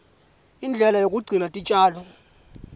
indlela yekugcina titjalo